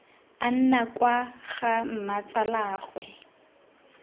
a nna kwa ga mmatsalaagwe